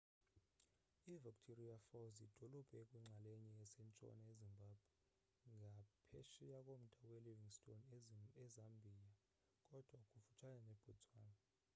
i-victoria falls yidolophu ekwinxalenye esentshona ezimbabwe ngaphesheya komda welivingstone ezambia kodwa kufutshane nebotswana